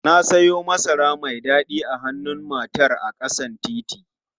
Na siyo masara mai dadi a hannun matar a ƙasan titi.